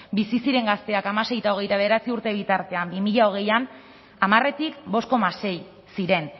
bizi ziren gazteak hamasei eta hogeita bederatzi urte bitartean bi mila hogeian hamaretik bost koma sei ziren